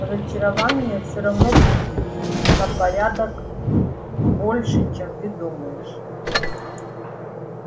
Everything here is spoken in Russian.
разочарований все равно будет на порядок больше чем ты думаешь